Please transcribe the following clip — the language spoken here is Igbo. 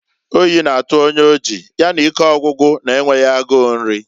Oyi na-atụ onye oji, ya na ike ọgwụgwụ na-enweghi agu nri.